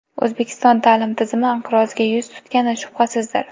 O‘zbekiston ta’lim tizimi inqirozga yuz tutgani shubhasizdir.